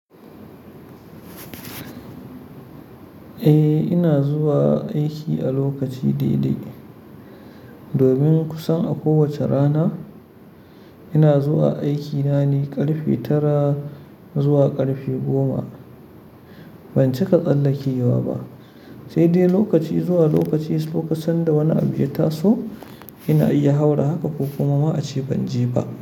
Eh, ina zuwa aiki a lokaci dai-dai. Domin kusan a kowace rana ina zuwa aiki nane ƙarfe tara zuwa ƙarfe goma. Ban cika tsallake wa ba, sai dai lokaci zuwa lokaci kusan da wani abu ya taso, ina iya haura haka ko kuma ma a ce ban je ba.